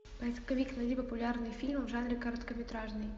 поисковик найди популярные фильмы в жанре короткометражный